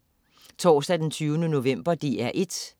Torsdag den 20. november - DR1: